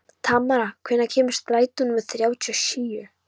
Tamara, hvenær kemur strætó númer þrjátíu og sjö?